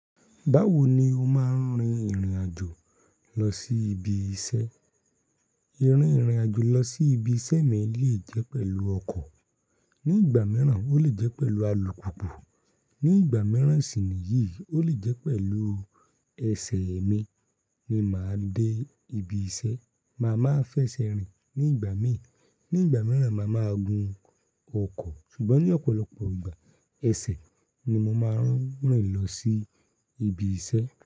Báwo ni o máa ń rin ìrìn àjò lọ sí ibi iṣẹ́? Irin ìrìn àjò lọ sí ibi iṣẹ́ mi lè jẹ́ pẹ̀lú ọkọ̀. Ní ìgbà mìràn, ó lè jẹ́ pẹ̀lú alùpùpù. Ní ìgbà mìràn sì níyì, ó lè jẹ́ pẹ̀lú ẹsẹ̀ mi ni màá dé ibi iṣẹ́. Màá máa fẹsẹ̀ rìn ní ìgbà míì. Ní ìgbà mìràn, màá máa gun ọkọ̀. Ṣùgbọ́n ní ọ̀pọ̀lọpọ̀ ìgbà, ẹsẹ̀ ni mo máa ń rìn lọ sí ibi iṣẹ́.